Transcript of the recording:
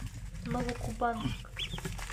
новокубанск